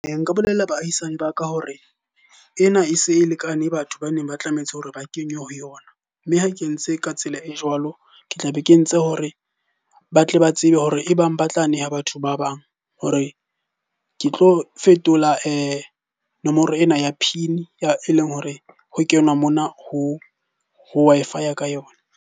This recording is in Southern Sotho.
Nka bolella baahisane ba ka hore ena e se e lekane batho baneng ba tlametse hore ba kenywe ho yona. Mme ha ke entse ka tsela e jwalo, ke tlabe ke entse hore ba tle ba tsebe hore e bang ba tla neha batho ba bang hore ke tlo fetola nomoro ena ya PIN e leng hore ho kenwa mona ho Wi-Fi ka yona.